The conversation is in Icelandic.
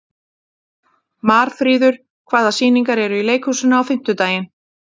Marfríður, hvaða sýningar eru í leikhúsinu á fimmtudaginn?